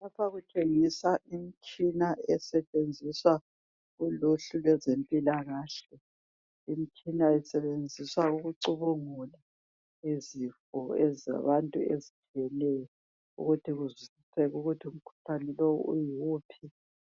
Lapha kutshengiswa imitshina esetshenziswa kuluhlu lwezempilakahle. Imitshina isebenziswa ukucubungula izifo ezabantu ezehlukeneyo ukuthi kuzwisiseke ukuthi umkhuhlane lo uyiwuphi